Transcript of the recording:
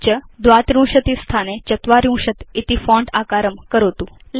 तथा च font आकारं 32 स्थाने 40 इति करोतु